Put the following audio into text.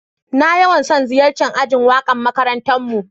Na yawan son ziyace'n ajin waka'n makarantan mu.